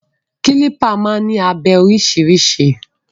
Kílípà máa ń ní abẹ oríṣìíríṣìí.